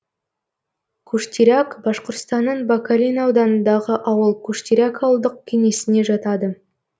куштиряк башқұртстанның бакалин ауданындағы ауыл куштиряк ауылдық кеңесіне жатады